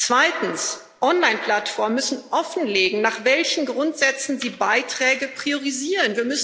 Zweitens Online Plattformen müssen offenlegen, nach welchen Grundsätzen sie Beiträge priorisieren.